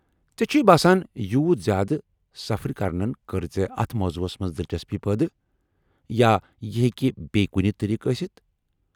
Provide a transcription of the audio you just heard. ژے٘ چُھیہ باسان یوٗت زیٛادٕ سفر کرنن كٕر ژےٚ اتھ موضوعس منز دلچسپی پٲدٕ ، یا یہ ہیٚکہ بیٚیہ کُنہِ طریقہٕ ٲستھ؟